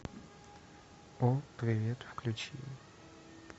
о привет включи